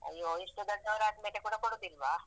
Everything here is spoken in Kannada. ಅಯ್ಯೋ ಇಷ್ಟು ದೊಡ್ದಾವರಾದ್ಮೇಲೆ ಕೂಡ ಕೊಡುದಿಲ್ವಾ?